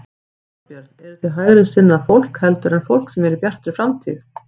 Þorbjörn: Eruð þið hægri sinnaðra fólk heldur en fólk sem er í Bjartri framtíð?